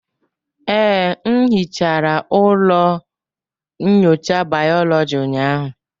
Ee, m hichara ụlọ nyocha bayoloji ụnyahụ.